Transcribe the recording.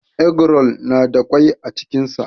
Eggroll na da kwai a cikin sa.